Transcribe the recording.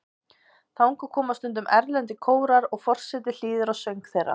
Þangað koma stundum erlendir kórar og forseti hlýðir á söng þeirra.